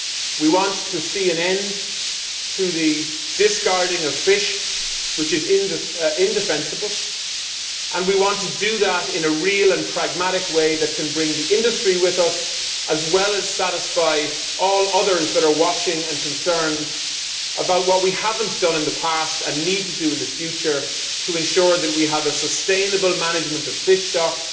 We want to see an end to the discarding of fish, which is indefensible, and we want to do that in a real and pragmatic way that can bring the industry with us, as well as satisfying all others that are watching and concerned about what we have not done in the past and need to do in the future to ensure that we have a sustainable management of fish stocks